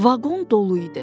Vaqon dolu idi.